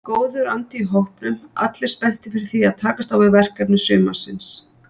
Góður andi í hópnum allir spenntir fyrir því að takast á við verkefni sumarsins.